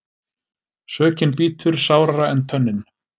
Sökin bítur sárara en tönnin.